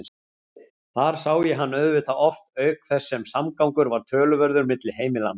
Þar sá ég hann auðvitað oft auk þess sem samgangur var töluverður milli heimilanna.